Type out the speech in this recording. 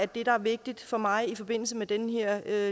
det der er vigtigt for mig i forbindelse med den her